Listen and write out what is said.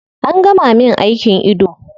An gama min aikin ido